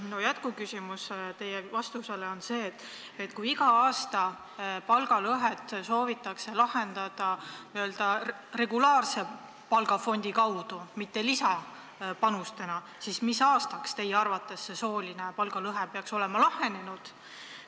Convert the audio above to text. Minu jätkuküsimus pärast teie vastust on see, et kui iga aasta soovitakse palgalõheküsimust lahendada n-ö regulaarse palgafondi kaudu, mitte lisapanuste abil, siis mis aastaks teie arvates see sooline palgalõhe peaks olema kaotatud.